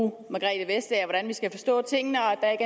hvordan vi skal forstå tingene og at der